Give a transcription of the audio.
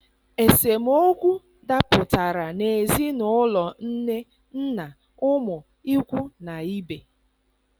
Esemokwu dapụtara n'ezinaụlọ nne, nna, ụmụ, ikwu na ibe.